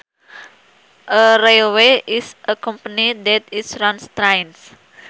A railway is a company that is runs trains